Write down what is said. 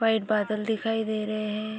White बादल दिखाई दे रहे हैं ।